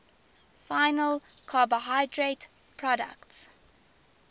final carbohydrate products